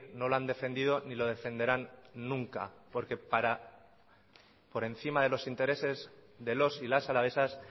no lo han defendido ni lo defenderán nunca porque por encima de los intereses de los y las alavesas